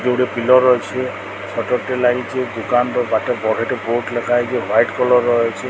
ଏଠି ଗୋଟେ ପିଲର ଅଛି ସଟର ଟେ ଲାଗିଚି ଦୁକାନ ର ବାଟ ବଢ ଟେ ବୋର୍ଡ଼ ଲେଖାହେଇଚି ହ୍ବାଇଟ୍ କଲର ର ଅଛି।